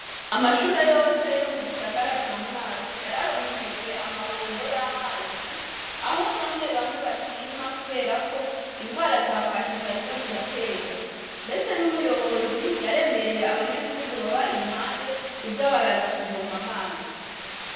Amashure yose yo mu gisagara ca Mwaro yararonkejwe amabombo y'amazi aho bamwe bamwe bashima kubera ko ingwara za kwashi zariko ziratera mbese n'umuyobozi yaremereye abanyagihugu baba iruhande kuza baraza kuvoma amazi.